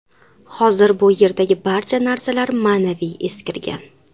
Hozir bu yerdagi barcha narsalar ma’naviy eskirgan.